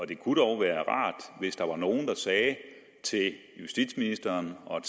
det kunne dog være rart hvis der var nogle der sagde til justitsministeren og